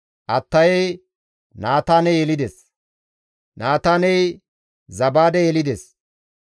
Attayey Naataane yelides; Naataaney Zabaade yelides;